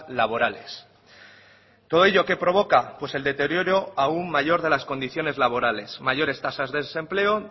laborales todo ello qué provoca pues el deterioro aún mayor de las condiciones laborales mayores tasas de desempleo